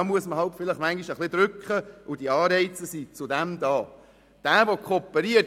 Dazu muss man halt vielleicht manchmal ein wenig drücken, und dafür gibt es solche Anreize.